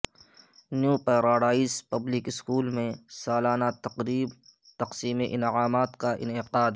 new paradise public school میں سالانہ تقریب تقسیم انعامات کا انعقاد